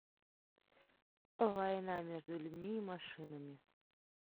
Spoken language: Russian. война между людьми и машинами